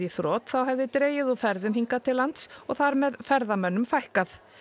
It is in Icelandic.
þrot þá hefði dregið úr ferðum hingað til lands og þar með ferðamönnum fækkað